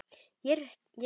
Ég er viss.